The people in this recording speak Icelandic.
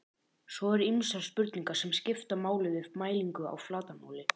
svo eru ýmsar spurningar sem skipta máli við mælingu á flatarmáli